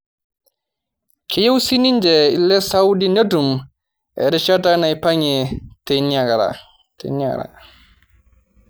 Keyieu sininje ile Saudi netum erishata naipang'ie teina ara